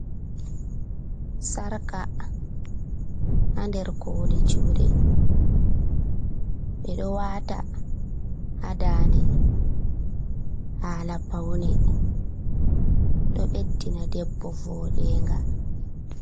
Sarka ha nder koli juɗe ɓe ɓeɗo wata ha dande hala paune, ɗo ɓeddina ɗebbo voɗenga.